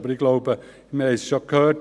Ich glaube aber: